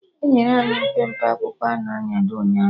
Enyere anyị mpempe akwụkwọ a na-anyado ụnyaahụ